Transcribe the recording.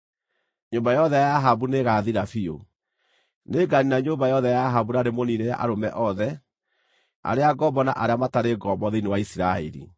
Nyũmba yothe ya Ahabu nĩĩgathira biũ. Nĩnganiina nyũmba yothe ya Ahabu na ndĩmũniinĩre arũme othe, arĩa ngombo na arĩa matarĩ ngombo thĩinĩ wa Isiraeli.